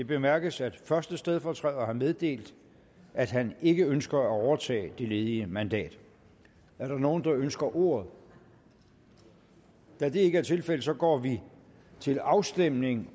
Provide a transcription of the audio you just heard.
bemærkes at første stedfortræder har meddelt at han ikke ønsker at overtage det ledige mandat er der nogen der ønsker ordet da det ikke er tilfældet går vi til afstemning